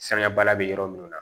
Sanga baliya bɛ yɔrɔ minnu na